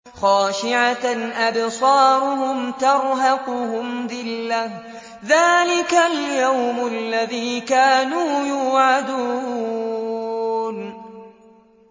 خَاشِعَةً أَبْصَارُهُمْ تَرْهَقُهُمْ ذِلَّةٌ ۚ ذَٰلِكَ الْيَوْمُ الَّذِي كَانُوا يُوعَدُونَ